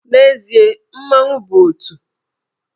N'ezie, mmanwụ bụ òtù